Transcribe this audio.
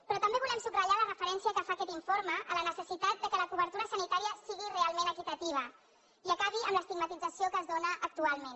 però també volem subratllar la referència que fa aquest informe a la necessitat que la cobertura sanitària sigui realment equitativa i acabi amb l’estigmatització que es dóna actualment